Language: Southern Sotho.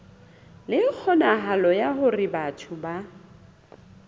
le kgonahalo ya hore batho